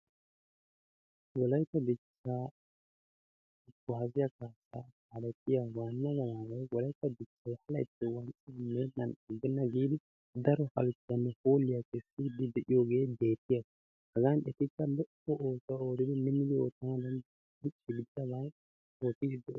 Wolaytta dichcha kuwasiya kaalettiya waanna gadaaway Wolaytta dichchay ha laytti wanccaa meennan aggenna giidi daro halchchuwanne hoolliya naagiiddi de'iyogee beettiyaba. Hagan etikka minnidi oottiiddi de'oosona.